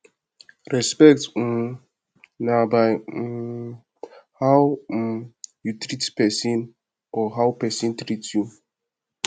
respect um na by um how um you treat persin or how persin treat you